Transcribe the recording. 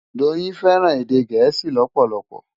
Doyin fẹràn èdè Gẹẹsi lòpòlòpò.